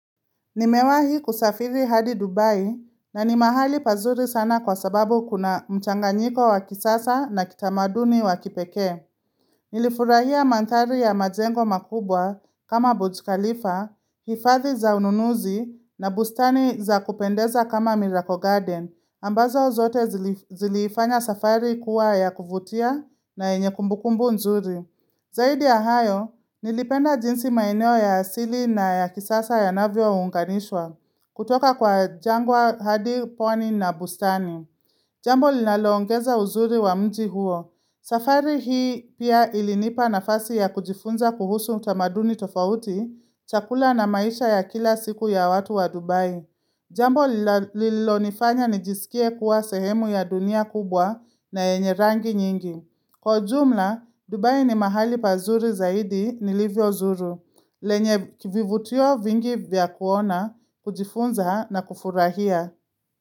Nimewahi kusafiri hadi Dubai na ni mahali pazuri sana kwa sababu kuna mchanganyiko wa kisasa na kitamaduni wa kipekee. Nilifurahia mandhari ya majengo makubwa kama Burj Khalifa, hifadhi za ununuzi na bustani za kupendeza kama Miracle Garden, ambazo zote zilifanya safari kuwa ya kuvutia na yenye kumbukumbu nzuri. Zaidi ya hayo, nilipenda jinsi maeneo ya asili na ya kisasa yanavyo unganishwa kutoka kwa jangwa hadi pwani na bustani. Jambo linalo ongeza uzuri wa mji huo. Safari hii pia ilinipa nafasi ya kujifunza kuhusu utamaduni tofauti, chakula na maisha ya kila siku ya watu wa Dubai. Jambo lililonifanya nijisikie kuwa sehemu ya dunia kubwa na yenye rangi nyingi. Kwa ujumla, Dubai ni mahali pazuri zaidi nilivyo Zuru, lenye kivivutio vingi vya kuona, kujifunza na kufurahia.